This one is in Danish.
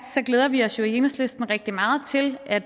glæder vi os jo i enhedslisten rigtig meget til at